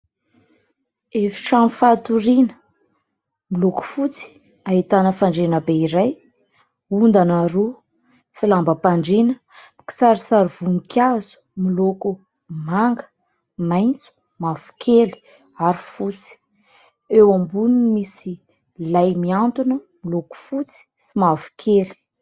Efitrano fatoriana miloko fotsy, ahitana fandriana be iray, ondana roa sy lambam-pandriana mikisarisary voninkazo, miloko manga, maitso, mavokely ary fotsy ; eo amboniny misy lay mihantona miloko fotsy sy mavokely.